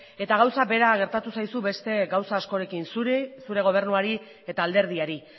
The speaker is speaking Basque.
eta gauza bera gertatu zaizu beste gauza askorekin zuri zure gobernuari eta alderdiari